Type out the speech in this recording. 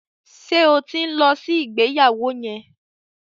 Ṣé o ti ń lọ sí ìgbéyàwó yẹn?